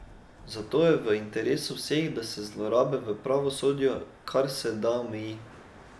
Zato je v interesu vseh, da se zlorabe v pravosodju kar se da omeji.